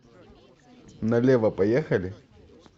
налево поехали